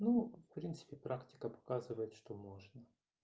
ну в принципе практика показывает что можно